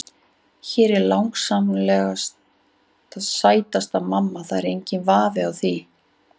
Hún er langsamlega sætasta mamman, það er enginn vafi á því.